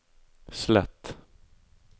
slett